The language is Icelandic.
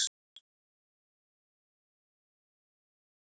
Þeir voru að höggva til grjót úr fjallinu.